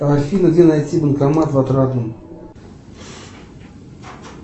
афина где найти банкомат в отрадном